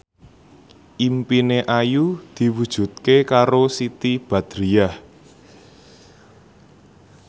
impine Ayu diwujudke karo Siti Badriah